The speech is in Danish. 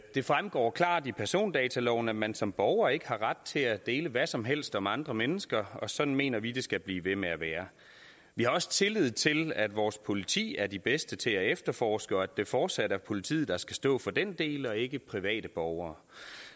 det fremgår klart i persondataloven at man som borger ikke har ret til at dele hvad som helst om andre mennesker og sådan mener vi at det skal blive ved med at være vi har også tillid til at vores politi er de bedste til at efterforske og at det fortsat er politiet der skal stå for den del og ikke private borgere